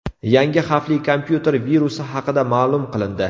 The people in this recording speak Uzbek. Yangi xavfli kompyuter virusi haqida ma’lum qilindi.